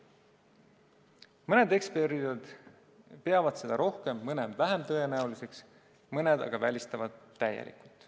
Mõned eksperdid peavad seda rohkem, mõned vähem tõenäoliseks, mõned aga välistavad täielikult.